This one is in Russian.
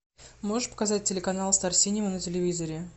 можешь показать телеканал стар синема на телевизоре